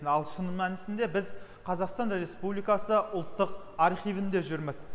ал шын мәнісінде біз қазақстан республикасы ұлттық архивінде жүрміз